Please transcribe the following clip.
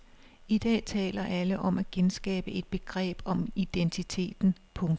I dag taler alle om at genskabe et begreb om identiteten. punktum